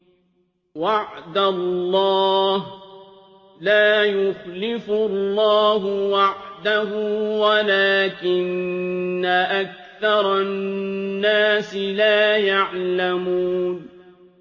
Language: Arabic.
وَعْدَ اللَّهِ ۖ لَا يُخْلِفُ اللَّهُ وَعْدَهُ وَلَٰكِنَّ أَكْثَرَ النَّاسِ لَا يَعْلَمُونَ